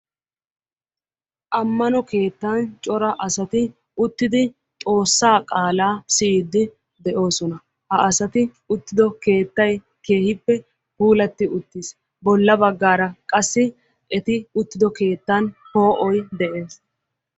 Ammano keettan cora asati uttidi xoossaa qaalaa siyyiidi de'oosona. ha asati uttido keettay keehippe puulatti uttiis. bolla baggaara qassi eti uttido keettan poo'oy de'ees.